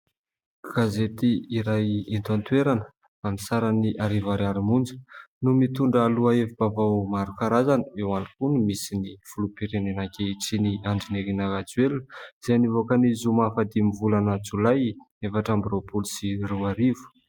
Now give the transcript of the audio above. Gazeti iray ento an-toerana aminy sarany arivo ariary monja no mitondra lohahevi-bavao marokarazana eo iany koa no misy ny foloham-pirenena ankehitriny Andrinirina Rajoelina izay nivoaka ny zoma faha dimy ny volana jolay efatra amby roapolo sy roarivo.